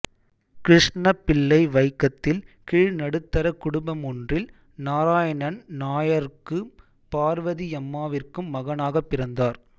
கிருஷ்ணப்பிள்ளை வைக்கத்தில் கீழ்நடுத்தரக் குடும்பமொன்றில் நாராயணன் நாயருக்கும் பார்வதியம்மாவிற்கும் மகனாகப் பிறந்தார்